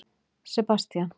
Sebastían